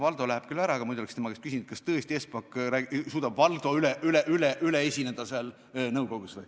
Valdo läheb ära, aga muidu oleks tema käest küsinud, kas tõesti Espak suudab Valdost seal nõukogus üle esineda.